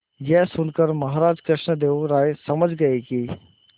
यह सुनकर महाराज कृष्णदेव राय समझ गए कि